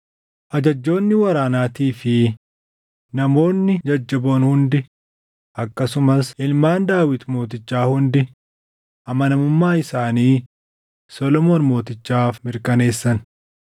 Ajajjoonni waraanaatii fi namoonni jajjaboon hundi akkasumas ilmaan Daawit mootichaa hundi amanamummaa isaanii Solomoon Mootichaaf mirkaneessan.